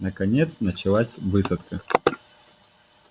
наконец началась высадка